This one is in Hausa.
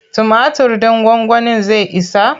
Tumatir ɗin gwagwanin zai isa?